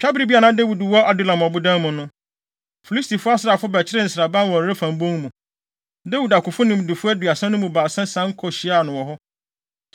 Twabere bi a na Dawid wɔ Adulam ɔbodan mu no, Filisti asraafo bɛkyeree nsraban wɔ Refaim bon mu. Dawid akofo nimdefo aduasa no mu baasa sian kohyiaa no wɔ hɔ.